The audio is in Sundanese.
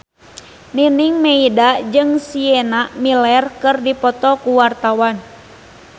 Nining Meida jeung Sienna Miller keur dipoto ku wartawan